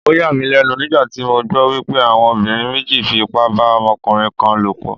Ó yà mí lẹ́nu nígbà tí mo gbọ́ wípé àwọn obìnrin méjì fi ipá bá ọmọkùnrin kan lò pọ̀.